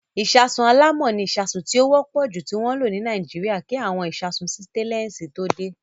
Ìṣasùn alámọ̀ ni ìṣasùn tí ó wọ́pọ̀ jù tí wọ́n ń lò ní Nàíjíríà kí àwọn ìṣasùn sítéélẹ́ǹsì tó dé.